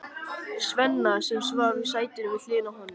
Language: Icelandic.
Svenna, sem svaf í sætinu við hliðina á honum.